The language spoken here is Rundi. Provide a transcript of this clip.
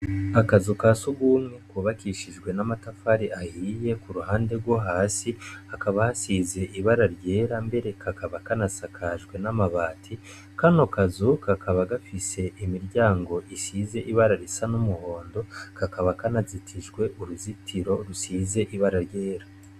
Akazu ka sugumye ku bakishijwe n'amatafari ahiye ku ruhande rwohasi hakaba hasize ibara ryera mbere kakaba kanasakajwe n'amabati kano kazu kakaba gafise imiryango isize ibara risa n'umhondo kakaba kanazitijwe uruzitiro rusize ibara ryera.